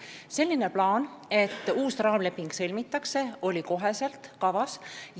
Selline plaan, et uus raamleping sõlmitakse, oli kohe kavas.